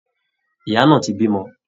Ìyá náà ti bímọ